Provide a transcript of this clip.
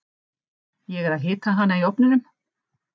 Ég er að hita hana í ofninum.